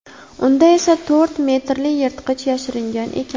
Unda esa to‘rt metrli yirtqich yashiringan ekan.